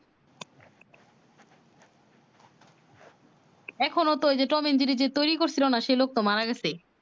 এখন ও তো ঐ যে টম এন্ড জেরি যে তৈরি করছে না সেই লোক টা মারা গেছে